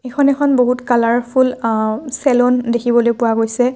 এইখন এখন বহুত কালাৰফুল আ চেলুন দেখিবলৈ পোৱা গৈছে।